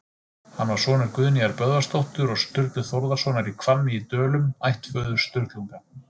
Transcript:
Hann var sonur Guðnýjar Böðvarsdóttur og Sturlu Þórðarsonar í Hvammi í Dölum, ættföður Sturlunga.